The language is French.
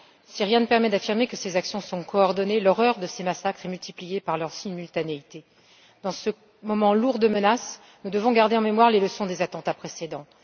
Si rien ne permet d'affirmer que ces actions sont coordonnées, l'horreur de ces massacres est multipliée par leur simultanéité. Dans ce moment lourd de menaces, nous devons garder en mémoire les leçons des attentats précédents.